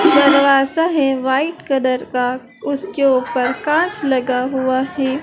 दरवाजा है white colour का उसके ऊपर कांच लगा हुआ है।